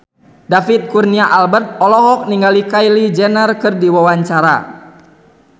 David Kurnia Albert olohok ningali Kylie Jenner keur diwawancara